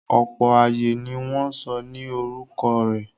Ọ̀pọ̀ ààyè ni wọ́n sọ ní orúkọ rẹ̀.